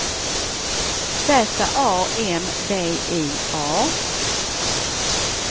Z A M B I A